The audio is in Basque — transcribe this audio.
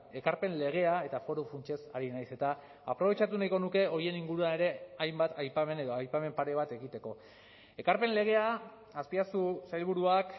ekarpen legea eta foru funtsez ari nahiz eta aprobetxatu nahiko nuke horien inguruan ere hainbat aipamen edo aipamen pare bat egiteko ekarpen legea azpiazu sailburuak